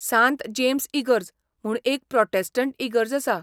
सांत जेम्स इगर्ज म्हूण एक प्रोटॅस्टंट इगर्ज आसा.